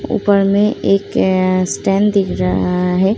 ऊपर में एक स्टैंड दिख रहा है।